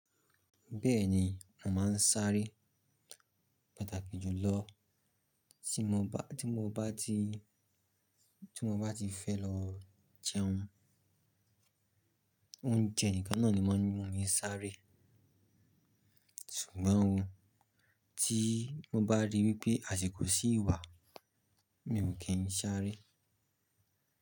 Bẹ́ẹ̀ni, mò máa ń sáré pàtàkì jùlọ tí mo bá, tí mo bá ti, tí mo bá ti fẹ́ lọ jẹun. Oúnjẹ nìkan náà ni maa ń mu sáré. Ṣùgbọ́n o, tí mo bá rí wípé àsiko ṣí wà, mi ò kì ń sáré.